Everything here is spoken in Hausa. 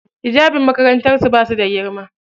Hijabin makarantar su bashi da girma.